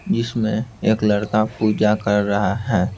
जिसमें एक लड़का पूजा कर रहा है।